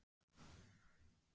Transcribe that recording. Gísli: En hvað með refaræktina?